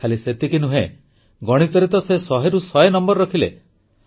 ଖାଲି ସେତିକି ନୁହେଁ ଗଣିତରେ ତ ସେ 100ରୁ 100 ନମ୍ବର ରଖିଲେ